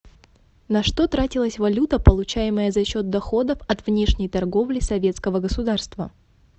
на что тратилась валюта получаемая за счет доходов от внешней торговли советского государства